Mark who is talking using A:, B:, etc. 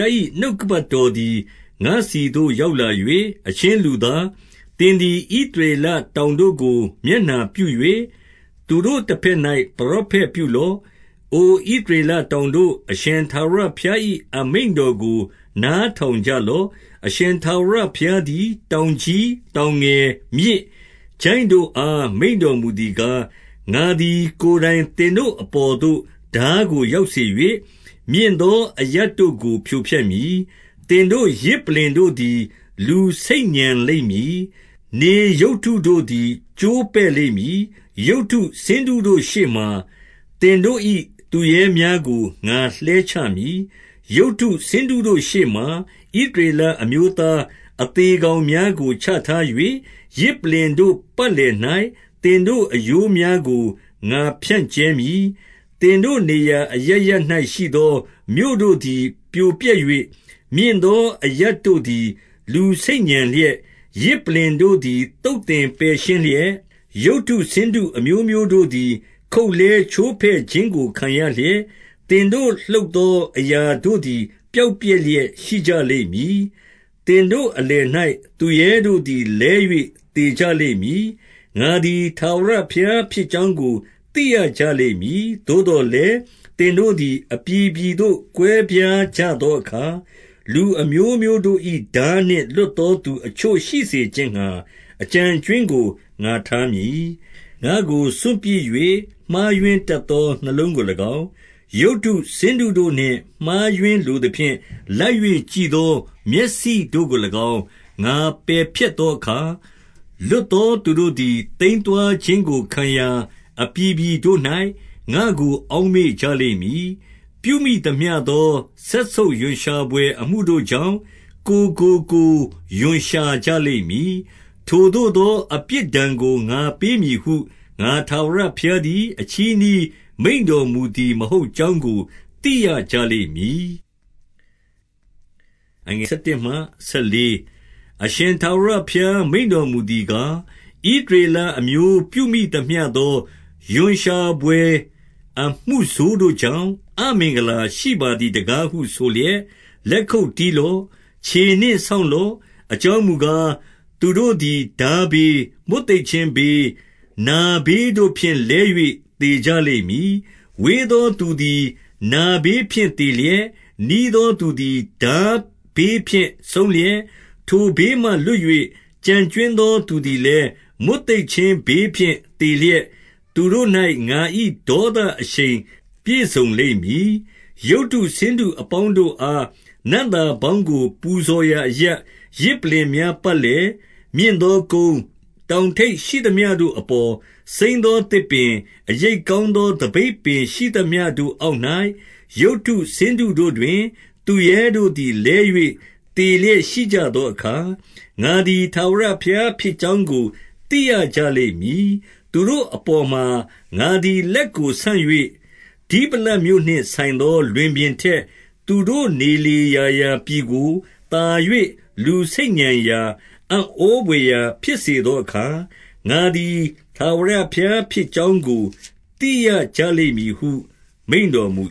A: ား၏ နှုတ်ကပတ်တော်သည် ငါ့ဆီသို့ရောက် လာ၍၊ 2 အချင်းလူသား၊ သင်သည် ဣသရေလတောင် တို့ကို မျက်နှာပြု၍၊ သူတို့တဘက်၌ ပရောဖက်ပြုလော့။ 3 အိုဣသရေလတောင်တို့၊ အရှင်ထာဝရဘုရား ၏ အမိန့်တော်ကို နားထောင်ကြလော့။ အရှင်ထာဝရ ဘုရားသည် တောင်ကြီး၊ တောင်ငယ်၊ မြစ်၊ ချိုင့်တို့အား မိန့်တော်မူသည်ကား၊ ငါသည်ကိုယ်တိုင်သင်တို့ အပေါ်သို့ ထားကိုရောက်စေ၍၊ မြင့်သောအရပ်တို့ကို ဖြိုဖျက်မည်။ 4 သင်တို့ယဇ်ပလ္လင်တို့သည် လူဆိတ်ညံလိမ့်မည်။ နေရုပ်တုတို့သည် ကျိုးပဲ့လိမ့်မည်။ ရုပ်တုဆင်းတုတို့ရှေ့မှာ သင်တို့၏သူရဲများကို ငါလှဲချမည်။ 5 ရုပ်တုဆင်းတုတို့ရှေ့မှာ ဣသရေလအမျိုးသား အသေကောင်များကို ချထား၍၊ ယဇ်ပလ္လင်တို့ပတ်လည်၌ သင်တို့ အရိုးများကို ငါဖြန့်ကြဲမည်။ 6 သင်တို့နေရာအရပ်ရပ်၌ ရှိသောမြို့တို့သည် ပြိုပျက်၍၊ မြင့်သော အရပ်တို့သည် လူဆိတ်ညံလျက်၊ ယဇ်ပလ္လင် တို့သည်သုတ်သင်ပယ်ရှင်းလျက်၊ ရုပ်တု ဆင်းတု အမျိုးမျိုးတို့သည် ခုတ်လှဲချိုးဖဲ့ခြင်းကို ခံရလျက်၊ သင်တို့လုပ်သော အရာတို့သည် ပျောက်ပျက် လျက်ရှိကြလိမ့်မည်။ 7 သင်တို့အလယ်၌သူရဲတို့သည် လဲ၍သေကြလိမ့် မည်။ ငါသည် ထာဝရဘုရားဖြစ်ကြောင်းကို သိရကြ လိမ့်မည်။ 8 သို့သော်လည်း၊ သင်တို့သည် အပြည်ပြည်သို့ ကွဲပြားကြသောအခါ၊ လူအမျိုးမျိုးတို့၏ထားနှင့် လွတ် သော သူအချို့ရှိစေခြင်းငှါ အကျန်အကြွင်းကို ငါထား မည်။ 9 ငါ့ကိုစွန့်ပစ်၍မှားယွင်းတတ်သော နှလုံးကို၎င်း၊ ရုပ်တုဆင်းတုတို့နှင့် မှားယွင်းလိုသဖြင့်လိုက်၍ ကြည့် သော မျက်စိတို့ကို၎င်း ငါပယ်ဖျက်သောအခါ၊ လွတ် သောသူတို့သည်သိမ်းသွားခြင်းကို ခံရာအပြည်ပြည်တို့၌ ငါ့ကိုအောက်မေ့ကြလိမ့်မည်။ ပြုမိသမျှသောစက် ဆုပ်ရွံ့ရှာဘွယ်အမှုတို့ကြောင့် ကိုယ်ကိုကိုယ်ရွံ့ရှာကြ လိမ့်မည်။ 10 ထိုသို့သောအပြစ်ဒဏ်ကို ငါပေးမည်ဟု၊ ငါ ထာဝရဘုရားသည် အချည်းနှီးမိန့်တော်မူသည် မဟုတ် ကြောင်းကို သိရကြလိမ့်မည်။ 11 အရှင်ထာဝရဘုရား မိန့်တော်မူသည်ကား၊ ဣသရေလအမျိုး ပြုမိသမျှသော ရွံ့ရှာဘွယ်အမှုဆိုးတို့ ကြောင့်၊ အမင်္ဂလာရှိပါသည်တကားဟုဆိုလျက်၊ လက်ခုပ်တီးလော့။ ခြေနှင့်ဆောင့်လော့။ အကြောင်းမူ ကား၊ သူတို့သည်ထားဘေး၊ မွတ်သိပ်ခြင်းဘေး၊ နာဘေး တို့ဖြင့်လဲ၍ သေကြလိမ့်မည်။ 12 ဝေးသောသူသည် နာဘေးဖြင့်သေလျက်၊ နီးသောသူသည် ထားဘေးဖြင့်ဆုံးလျက်၊ ထိုဘေးမှ လွတ်၍ ကျန်ကြွင်းသောသူသည်လည်း မွတ်သိပ်ခြင်း ဘေးဖြင့် သေလျက်၊ သူတို့၌ ငါ၏ဒေါသအရှိန် ပြည့်စုံ လိမ့်မည်။ 13 ရုပ်တုဆင်းတုအပေါင်းတို့အား နံ့သာပေါင်းကို ပူဇော်ရာအရပ်၊ ယဇ်ပလ္လင်များပတ်လည်၊ မြင့်သောကုန်း၊ တောင်ထိပ်ရှိသမျှတို့အပေါ်၊ စိမ်းသောသစ်ပင်၊ အရိပ် ကောင်းသော သပိတ်ပင် ရှိသမျှတို့အောက်၌၊ ရုပ်တု ဆင်းတုတို့တွင်သူရဲတို့သည်လဲ၍ သေလျက်ရှိကြသော အခါ၊ ငါသည် ထာဝရဘုရားဖြစ်ကြောင်းကို သိရကြ လိမ့်မည်။ 14 သူတို့အပေါ်မှာ ငါသည်လက်ကိုဆန့်၍၊ ဒိဗလတ်မြို့နှင့် ဆိုင်သော လွင်ပြင်ထက်၊ သူတို့နေလေရာ ရာပြည်ကိုသာ၍ လူဆိတ်ညံရာ၊ အံ့ဩဘွယ်ရာဖြစ်စေ သောအခါ၊ ငါသည် ထာဝရဘုရားဖြစ်ကြောင်းကို သိရကြ လိမ့်မည်ဟု မိန့်တော်မူ